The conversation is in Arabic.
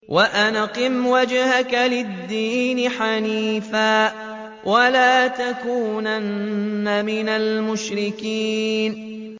وَأَنْ أَقِمْ وَجْهَكَ لِلدِّينِ حَنِيفًا وَلَا تَكُونَنَّ مِنَ الْمُشْرِكِينَ